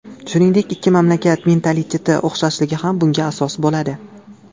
Shuningdek ikki mamlakat mentaliteti o‘xshashligi ham bunga asos bo‘ladi.